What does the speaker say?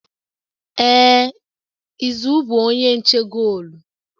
Ee izu bụ onye nche goolu